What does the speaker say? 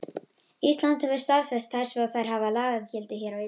Ísland hefur staðfest þær svo þær hafa lagagildi hér á landi.